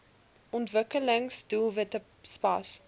ontwikkelings doelwitte spas